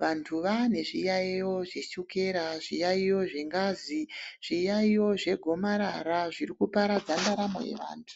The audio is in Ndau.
vantu vaane zviyaiyo zveshukera zviyaiyo zvengazi zviyaiyo zvegomarara zvirikuparadza ndaramo yevantu.